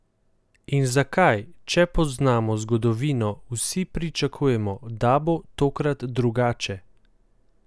In zakaj, če poznamo zgodovino, vsi pričakujemo, da bo tokrat drugače?